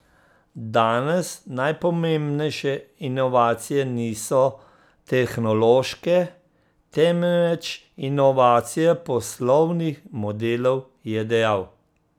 Danes najpomembnejše inovacije niso tehnološke, temveč inovacije poslovnih modelov, je dejal.